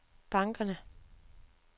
bankerne